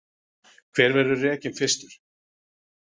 Hver verður rekinn fyrstur?